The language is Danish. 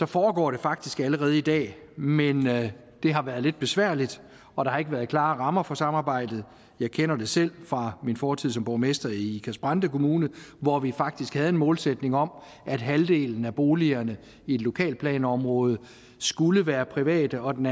foregår faktisk allerede i dag men det har været et besværligt og der har ikke været klare rammer for samarbejdet jeg kender det selv fra min fortid som borgmester i ikast brande kommune hvor vi faktisk havde en målsætning om at halvdelen af boligerne i et lokalplanområde skulle være private og den